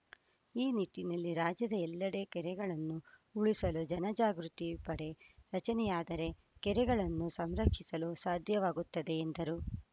ಈ ನಿಟ್ಟಿನಲ್ಲಿ ರಾಜ್ಯದ ಎಲ್ಲೆಡೆ ಕೆರೆಗಳನ್ನು ಉಳಿಸಲು ಜನಜಾಗೃತಿ ಪಡೆ ರಚನೆಯಾದರೆ ಕೆರೆಗಳನ್ನು ಸಂರಕ್ಷಿಸಲು ಸಾಧ್ಯವಾಗುತ್ತದೆ ಎಂದರು